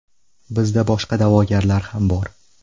Bizda boshqa da’vogarlar ham bor.